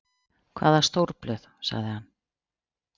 Hvaða stórblöð? sagði hann.